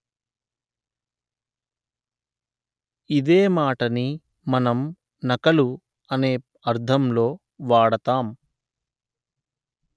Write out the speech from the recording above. ఇదే మాటని మనం ‘నకలు’ అనే అర్ధం లో వాడతాం